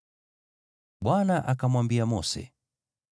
Bwana akamwambia Mose,